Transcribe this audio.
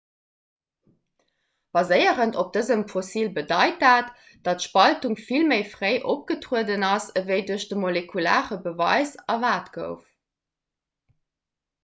baséierend op dësem fossil bedeit dat datt d'spaltung vill méi fréi opgetrueden ass ewéi duerch de molekulare beweis erwaart gouf